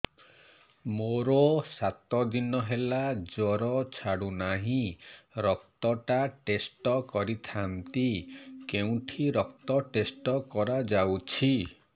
ମୋରୋ ସାତ ଦିନ ହେଲା ଜ୍ଵର ଛାଡୁନାହିଁ ରକ୍ତ ଟା ଟେଷ୍ଟ କରିଥାନ୍ତି କେଉଁଠି ରକ୍ତ ଟେଷ୍ଟ କରା ଯାଉଛି